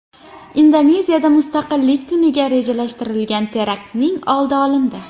Indoneziyada Mustaqillik kuniga rejalashtirilgan teraktning oldi olindi.